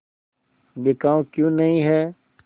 बिकाऊ क्यों नहीं है